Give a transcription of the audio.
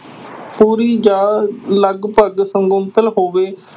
ਜਾਂ ਲਗਪਗ ਹੋਵੇ।